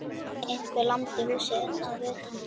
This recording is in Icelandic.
Einhver lamdi húsið að utan.